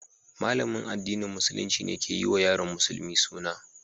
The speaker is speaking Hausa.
Malamin addinin Musulunci ne ke yi wa yaron musulmi suna.